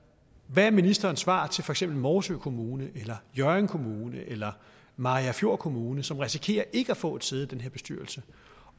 hvad er ministerens svar til for eksempel morsø kommune eller hjørring kommune eller mariagerfjord kommune som risikerer ikke at få et sæde i den her bestyrelse